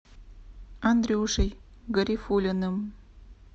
андрюшей гарифуллиным